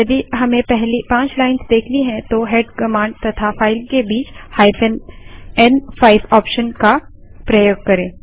यदि हमें पहली पाँच लाइन्स देखनी हैं तो हेड कमांड तथा फाइल के बीच n5 ऑप्शन का प्रयोग करें